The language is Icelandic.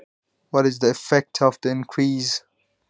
Hvaða áhrif hefur fjölgunin?